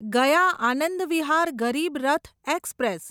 ગયા આનંદ વિહાર ગરીબ રથ એક્સપ્રેસ